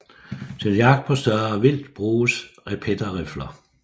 Til jagt på større vildt bruges repeterrifler